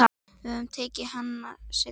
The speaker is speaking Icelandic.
Við tökum hana seinna.